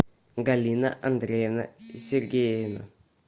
галина андреевна сергеева